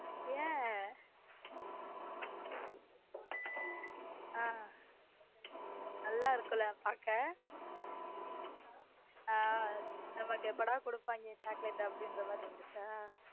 ஏன ஹம் நல்லா இருக்கும்ல பாக் நமக்கு எப்படா கொடுப்பாங்க chocolate அப்படிங்கிற மாதிரி இருந்துச்சா.